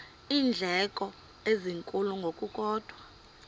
iindleko ezinkulu ngokukodwa